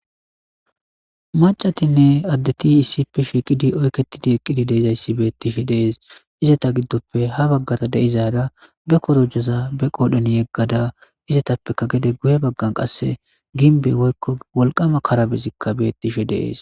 Macatinne addeti issippe shiqidi oykketidi eqqidi deizayssi bettishe dees izata giddoppe ha baggata deizada be korojoza be qoodhon yeggada izatappeka gede guye baggan qasse ginbe woykko wolqama karabezikka bettishe deees.